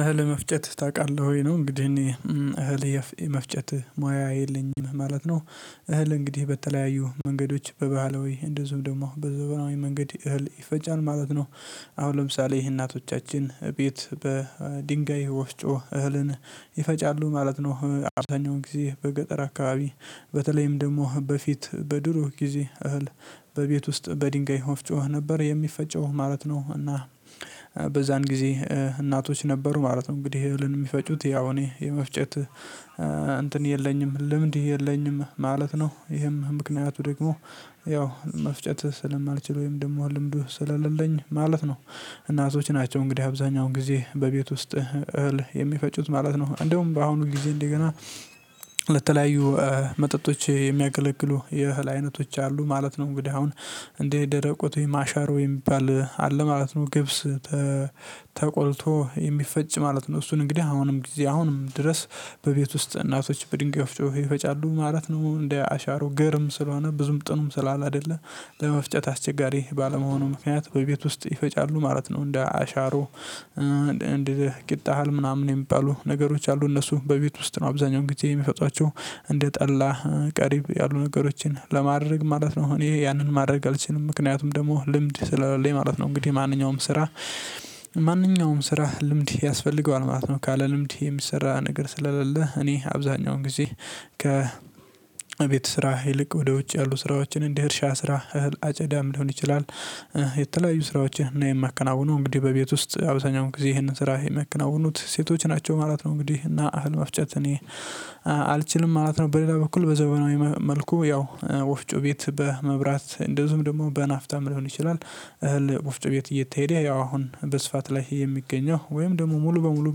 እህል መፍጨት ታውቃለህ ወይ ነው? እንግዲህ እኔ እህል የመፍጨት ሙያ የለኝም ማለት ነው። እህል እንግዲህ በተለያዩ መንገዶች በባህል ወይ እንደዚሁም ደግሞ በዘመናዊ መንገድ እህል ይፈጫል ማለት ነው። አሁን ለምሳሌ ይሄ እናቶቻችን ቤት በድንጋይ ወፍጮ እህልን ይፈጫሉ ማለት ነው። አብዛኛው ጊዜ በገጠር አካባቢ በተለይም ደግሞ በፊት በድሮ ጊዜ እህል በቤት ውስጥ በድንጋይ ወፍ ነበር የሚፈጨው ማለት ነው። እና በዛን ጊዜ እናቶች ነበሩ ማለት ነው። እንግዲህ እህልን የሚፈጩት ያው እኔ የመፍጨት እንትን የለኝም ልምድ የለኝም ማለት ነው። ይሄም ምክንያቱ ደግሞ ያው መፍጨት ስለማልችል ወይም ደግሞ ልምዱ ስላሌለኝ ማለት ነው። እናቶች ናቸው እንግዲህ አብዛኛው ጊዜ በቤት ውስጥ እህል የሚፈጩት ማለት ነው እንደውም በአሁኑ ጊዜ እንደገና ለተለያዩ መጠጦች የሚያገለግሉ የእህል አይነቶች አሉ ማለት ነው። እንግዲህ አሁን እንድህ የደረቁት ወይ አሻሮ የሚባል አለ ማለት ነው። ገብስ ተቆልቶ የሚፈጭ ማለት ነው። እሱን እንግዲህ አሁንም ጊዜ አሁንም ድረስ በቤት ውስጥ እናቶች በድንጋይ ወፍጮ ይፈጫሉ ማለት ነው። እንደ አሻሮ ገርም ስለሆነ ብዙም ጥኑም ስላላደለ ለመፍጨት አስቸጋሪ ባለመሆኑ ምክንያት በቤት ውስጥ ይፈጫሉ ማለት ነው። እንደ አሻሮ እንደ ቂጥ እህል ምናምን የሚባሉ ነገሮች አሉ እነሱ በቤት ውስጥ ነው አብዛኛው ጊዜ የሚፈጧቸው እንደ ጠላ ቀሪብ ያሉ ነገሮችን ለማድረግ ማለት ነው። እኔ ያንን ማድረግ አልችልም ምክንያቱም ደግሞ ልምድ ስለሌለኝ ማለት ነው። እንግዲህ ማንኛውም ስራ ማንኛውም ስራ ልምድ ያስፈልገዋል ማለት ነው። ካለ ልምድ የሚሰራ ነገር ስለሌለ እኔ አብዛኛውን ጊዜ ከ ቤት ስራ ይልቅ ወደ ውጭ ያሉ ስራዎችን እንደ እርልሻ ስራ እህል አጨዳም ሊሆን ይችላል። የተለያዩ ስራዎችን እና የሚያከናውኑ እንግዲህ በቤት ውስጥ አብዛኛውን ጊዜ ይሄንን ስራ የሚያከናውኑት ሴቶች ናቸው ማለት ነው። እንግዲህ እና እህል መፍጨት እኔ አልችልም ማለት ነው። በሌላ በኩል በዘመናዊ መልኩ ያው ወፍጮ ቤት በመብራት እንደዚሁም ደግሞ በናፍታ ሊሆን ይችላል እህል ውፍጮ ቤት እየተሄደ ያው አሁን በስፋት ላይ የሚገኘው ወይም ደግሞ ሙሉ በሙሉ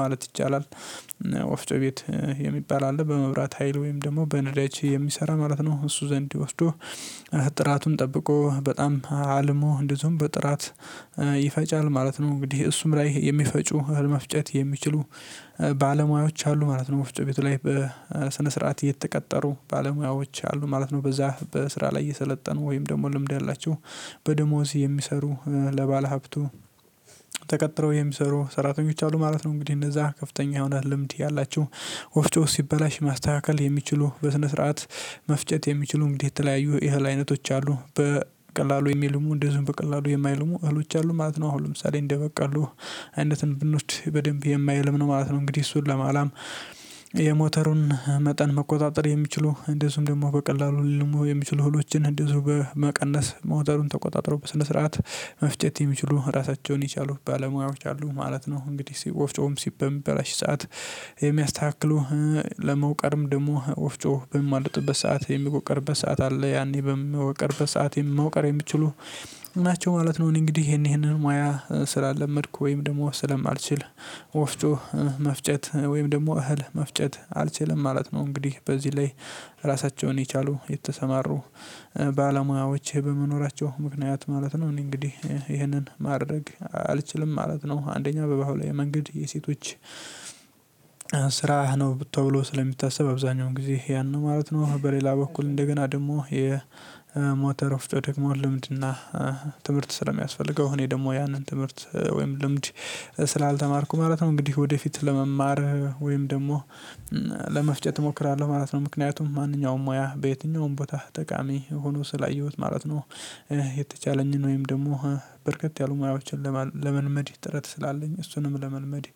ማለት ይቻላል። ወፍጮ ቤት የሚባል አለ በመብራት ሀይል ወይም ደግሞ በነዳጅ የሚሰራ ማለት ነው እሱ ዘንድ ወስዶ ጥራቱን ጠብቆ በጣም አልሞ እንደዚሁም በጥራት ይፈጫል ማለት ነው። እንግዲህ እሱም ላይ የሚፈጩ እህል መፍጨት የሚችሉ ባለሙያዎች አሉ ማለት ነው። ወፍጮ ቤቱ ላይ በሰነ ስርዓት እየተቀጠሩ ባለሙያዎች አሉ ማለት ነው በዛ በስራ ላይ የሰለጠኑ ወይም ደግሞ ልምድ ያላቸው በደሞዝ የሚሰሩ ለባለሀብቱ ተቀጥረው የሚሰሩ ሰራተኞች አሉ ማለት ነው። እንግዲህ እነዛ ከፍተኛ የሆነ ልምድ ያላቸው ወፍጮ ሲበላሽ ማስተካከል የሚችሉ በስነ ስርዓት መፍጨት የሚችሉ እንግዲህ የተለያዩ የእህል አይነቶች አሉ በቀላሉ የሚልሙ እንደዚሁም በቀላሉ የማይልሙ እህሎች አሉ ማለት ነው። አሁን ለምሳሌ እንደ በቆሎ አይነት ብንወስድ በደንብ የማይልም ነው ማለት ነው። እንግዲህ እሱን ለማላም የሞተሩን መጠን መቆጣጠር የሚችሉ እንደዚሁም ደግሞ በቀላሉ ሊልሙ የሚችሉ ህሎችን እንደዚሁ በመቀነስ ሞተሩን ተቆጣጥሮ በስነ ስርዓት መፍጨት የሚችሉ ራሳቸውን የቻሉ ባለሙያዎች አሉ ማለት ነው። እንግዲህ ወፍጮም ሲበላ በምበላሽ ሰዓት የሚያስተካክሉ ለመውቀርም ደግሞ ወፍጮ በምያማልጭበት ሰዓት የምወቀርበት ሰዓት አለ ያኔ በምወቀርበት ሰዓት መወቀር የምችሉ ናቸው ማለት ነው። እኔ እንግዲህ ይሄንን ሙያ ስላለመድኩ ወይም ደግሞ ስለማልችል ወፍጮ መፍጨት ወይም ደግሞ እህል መፍጨት አልችልም ማለት ነው። እንግዲህ በዚህ ላይ ራሳቸውን የቻሉ የተሰማሩ ባለሙያዎች በመኖራቸው ምክንያት ማለት ነው። እኔ እንግዲህ ይህንን ማድረግ አልችልም ማለት ነው። አንደኛ በባህላዊ መንገድ የሴቶች ስራ ነው ተብሎ ስለሚታሰብ አብዛኛው ጊዜ ያን ነው ማለት ነው። በሌላ በኩል እንደገና ደግሞ የሞተር ወፍጮ ደግሞ ልምድና ትምህርት ስለሚያስፈልገው እኔ ደግሞ ያንን ትምህርት ወይም ልምድ ስላልተማርኩ ማለት ነው። እንግዲህ ወደፊት ለመማር ወይም ደግሞ ለመፍጨት እሞክራለሁ ማለት ነው። ምክንያቱም ማንኛውም ሙያ በየትኛውም ቦታ ጠቃሚ ሆኖ ስላየሁት ማለት ነው። የተቻለኝን ወይም ደግሞ በርከት ያሉ ሙያዎችን ለመልመድ ጥረት ስላለኝ እሱንም ለመልመድ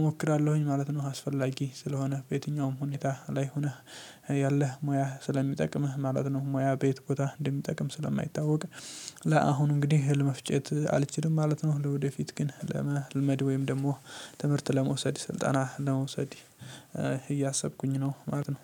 እሞክራለሁኝ ማለት ነው። አስፈላጊ ስለሆነ በየትኛውም ሁኔታ ላይ ሆነህ ያለህ ሙያህ ስለሚጠቅምህ ማለት ነው። ሙያ በየት ቦታ እንደሚጠቅም ስለማይታወቅ ለአሁኑ እንግዲህ እህል መፍጨት አልችልም ማለት ነው። ለወደፊት ግን ለመለመድ ወይም ደግሞ ትምህርት ለመውሰድ ስልጠና ለመውሰድ እያሰብኩኝ ነው ማለት ነው።